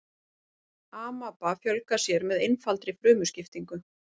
amaba fjölgar sér með einfaldri frumuskiptingu